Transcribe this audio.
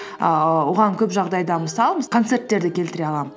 ііі оған көп жағдайда мысал концерттерді келтіре аламын